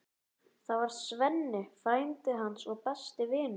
Það var Svenni, frændi hans og besti vinur.